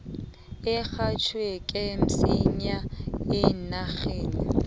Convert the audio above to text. urhatjheke msinya eenarheni